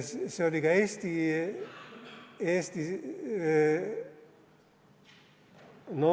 See oli ka Eesti.